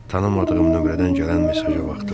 Tanımadığım nömrədən gələn mesaja baxdım.